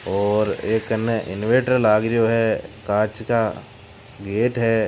और एक कने इनवेटर लग रियो है काच का गेट है।